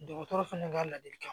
Dɔgɔtɔrɔ fɛnɛ ka ladilikan